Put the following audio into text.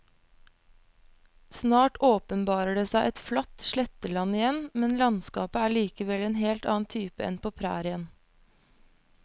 Snart åpenbarer det seg et flatt sletteland igjen, men landskapet er likevel av en helt annen type enn på prærien.